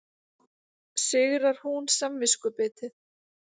Sigrar hún samviskubitið?